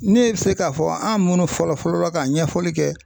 Ne be se ka fɔ an munnu fɔlɔ fɔlɔ la ka ɲɛfɔli kɛ